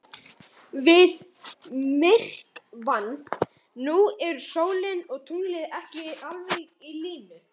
Við myrkvann nú eru sólin og tunglið ekki alveg í línu.